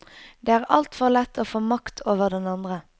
Det er altfor lett å få makt over den andre.